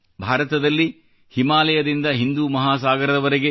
ಭಾರತದಲ್ಲಿ ಹಿಮಾಲಯದಿಂದ ಹಿಂದು ಮಹಾಸಾಗರದವರೆಗೆ